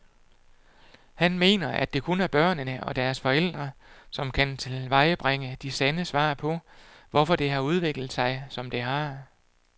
Han mener, at det kun er børnene og deres forældre, som kan tilvejebringe de sande svar på, hvorfor det har udviklet sig, som det har.